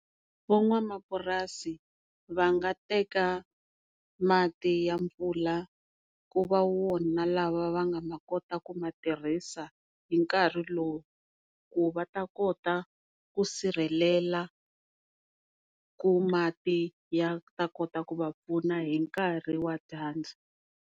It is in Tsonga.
Van'wamapurasini va nga teka mati ya mpfula ku va wona lawa va nga ta kota ku ma tirhisa hi nkarhi lowu, ku va ta kota ku sirhelela ku mati ya ta kota ku va pfuna hi nkarhi wa dyandza.